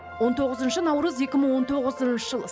он тоғызыншы наурыз екі мың он тоғызыншы жыл